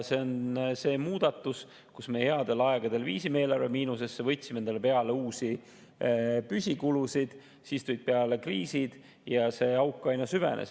See on see muudatus, kus me headel aegadel viisime eelarve miinusesse, võtsime endale peale uusi püsikulusid, siis tulid peale kriisid ja see auk aina süvenes.